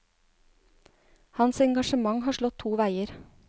Hans engasjement har slått to veier.